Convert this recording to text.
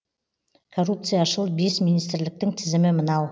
коррупцияшыл бес министрліктің тізімі мынау